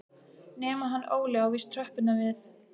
Nema hann Óli á víst tröppurnar við